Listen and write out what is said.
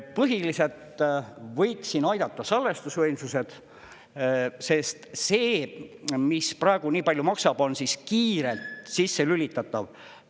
Põhiliselt võiks siin aidata salvestusvõimsused, sest see, mis praegu nii palju maksab, on kiirelt sisse lülitatav ...